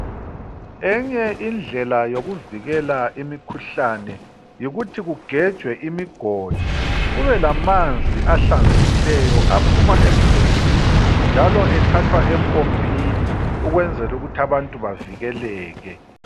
Enye indlela yokuvikela imikhuhlane yikuthi kugejwe imigodi, kube lamanzi ahlanzekileyo aphuma emgodini njalo ethathwa empompini ukwenzel' ukuth' abantu bavikeleke.